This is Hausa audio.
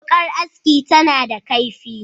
Wuƙar aski tana a kaifi,